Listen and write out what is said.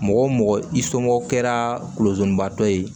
Mɔgɔ mɔgɔ i somɔgɔw kɛra lozonbaa dɔ ye